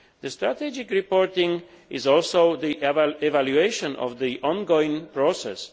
Strategic reporting is also an evaluation of the ongoing process.